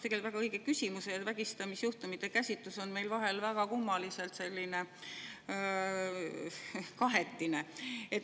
No hea … väga õige küsimus, vägistamisjuhtumite käsitlus on meil vahel väga kummaliselt selline kahetine.